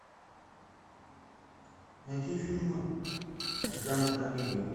найти фильмы в жанре комедия